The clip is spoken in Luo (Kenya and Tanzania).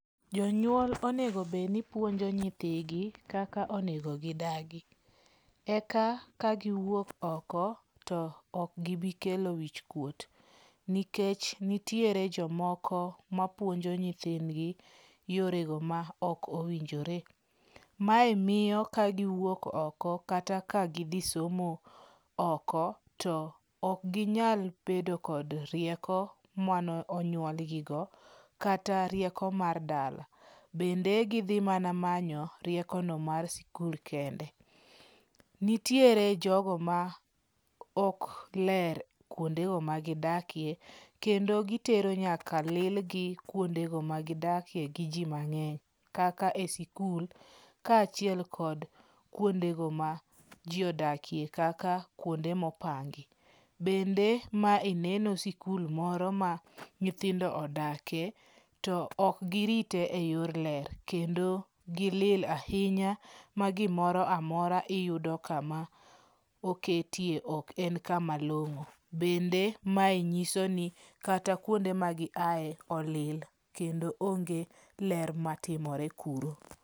Jonyuol onego bed nipuonjo nyithigi kaka onego gidagi eka kagiwuok oko to ok gibi kelo wichkuot, nikech nitiere jomoko mapuonjo nyithindgi e yore maok owinjore. Mae miyo kagiwuok oko kata ka gidhi nsomo oko, to ok ginyal bedo kod rieko mane onyuolgigo kata rieko mar dala. Bende gidhi mana manyo riekono mar skul kende. Nitiere jogo maok ler kuondego magidakie kendo gitero nyaka lilgi kuonde magidakie gi ji mang'eny kaka e skul kaachiel kod kuondego majiodakie kaka kuonde mopangi. Bende mae neno skul moro ma nyithindo odakie to ok girite eyor ler kendo gilil ahinya ma gimoro amora iyudo kama oketie ok en kama long'o. Bende mae nyiso ni kata kuonde magiaye olil kendo onge ler matimore kuro.